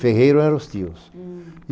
Ferreiro eram os tios. Hm